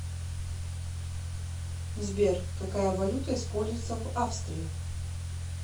сбер какая валюта используется в австрии